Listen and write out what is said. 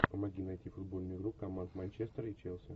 помоги найти футбольную игру команд манчестер и челси